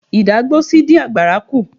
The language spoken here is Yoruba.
Ìdágbósí dín àgbàrá kú.